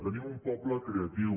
tenim un poble creatiu